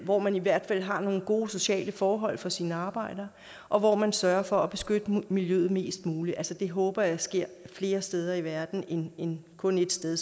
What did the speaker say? hvor man i hvert fald har nogle gode sociale forhold for sine arbejdere og hvor man sørger for at beskytte miljøet mest muligt det håber jeg sker flere steder i verden end kun ét sted